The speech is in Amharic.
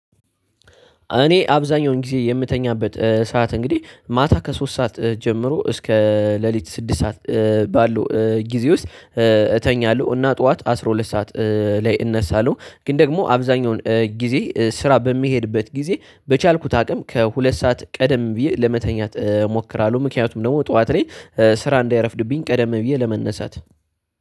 እኔ አብዛኛውን ጊዜ የምተኛበት ሰዓት እንግዲህ ማታ ከሶስት ሰዓት ጀምሮ እስከ ሌሊት ስድስት ሰዓት ባሉ ጊዜ ውስጥ። እተኛለሁ እና ጠዋት አስራ ሁለት ሰዓት ላይ እነሳለሁ። ግን ደግሞ አብዛኛውን ጊዜ ስራ በሚሄድበት ጊዜ በቻልኩት አቅም ከሁለት ሰዓት ቀደም ብዬ ለመተኛት እሞክራለሁ። ምክንያቱም ደግሞ ጠዋት ላይ ስራ እንዳይረፍድብኝ ቀደም ብዬ ለመነሳት።